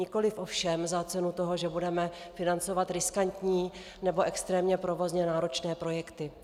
Nikoliv ovšem za cenu toho, že budeme financovat riskantní nebo extrémně provozně náročné projekty.